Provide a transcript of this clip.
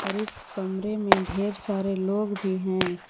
इस कमरे में ढेर सारे लोग भी हैं।